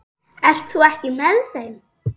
Ert þú ekki með þeim?